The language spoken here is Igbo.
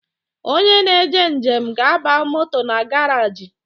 Onye na-eje njem ga-aba moto na garaji